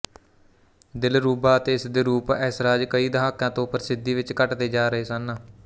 ਦਿਲਰੂਬਾ ਅਤੇ ਇਸਦੇ ਰੂਪ ਐਸਰਾਜ ਕਈ ਦਹਾਕਿਆਂ ਤੋਂ ਪ੍ਰਸਿੱਧੀ ਵਿੱਚ ਘੱਟਦੇ ਜਾ ਰਹੇ ਸਨ